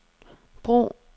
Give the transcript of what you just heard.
brug